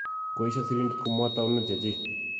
koesho sirindet ko mwaa taunet che chik